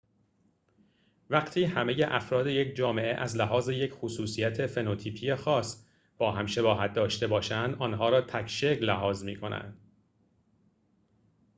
وقتی همه افراد یک جامعه از لحاظ یک خصوصیت فنوتیپی خاص با هم شباهت داشته باشند آنها را تک‌شکل لحاظ می‌کنند